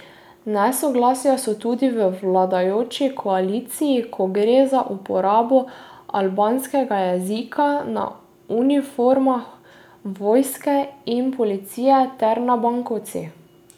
Nesoglasja so tudi v vladajoči koaliciji, ko gre za uporabo albanskega jezika na uniformah vojske in policije ter na bankovcih.